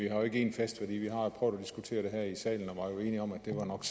vi har ikke én fast værdi vi har prøvet at diskutere det her i salen og var jo enige om at det nok